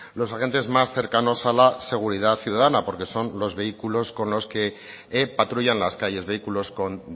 los agentes más cercanos a la seguridad ciudadana porque son los vehículos con los que patrullan las calles vehículos con